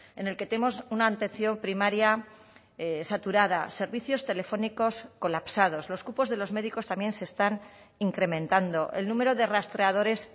en el que tenemos una atención primaria saturada servicios telefónicos colapsados los cupos de los médicos también se están incrementando el número de rastreadores